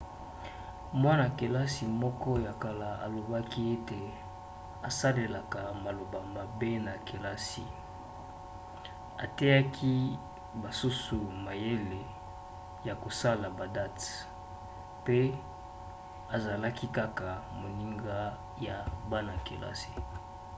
mwana-kelasi moko ya kala alobaki ete 'asalelaka maloba mabe na kelasi ateyaki basusu mayele ya kosala badate mpe azalaki kaka 'moninga' ya bana-kelasi